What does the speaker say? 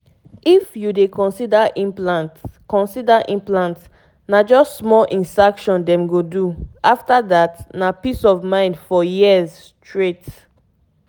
to get contraceptive implant no dey stress at all e go help you skip that everyday reminder wahala honestly!